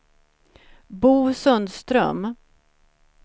Bo Sundström